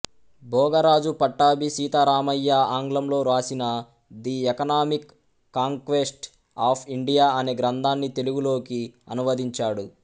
భోగరాజు పట్టాభిసీతారామయ్య ఆంగ్లంలో వ్రాసిన the economic conquest of India అనే గ్రంథాన్ని తెలుగులోకి అనువదించాడు